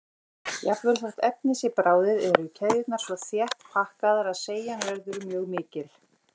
Jafnvel þótt efnið sé bráðið eru keðjurnar svo þétt pakkaðar að seigjan verður mjög mikil.